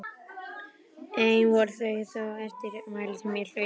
Ein voru þó þau eftirmæli sem ég hlaut að sleppa.